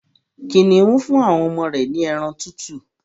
Kìnìún fún àwọn ọmọ rẹ̀ ní ẹran tútù